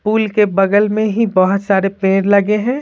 Pool के बगल में ही बहुत सारे पेड़ लगे हैं।